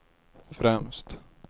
främst